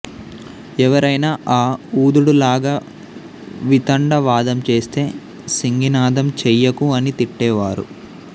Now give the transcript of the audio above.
ఎవరైనా ఆ ఊదుడు లాగ వితండ వాదం చేస్తే సింగినాదం చెయ్యకు అని తిట్టే వారు